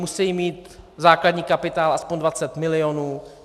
Musejí mít základní kapitál aspoň 20 milionů.